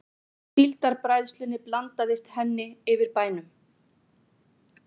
Síldarbræðslunni blandaðist henni yfir bænum.